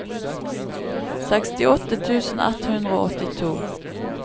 sekstiåtte tusen ett hundre og åttito